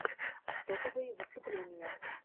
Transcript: топовые выступления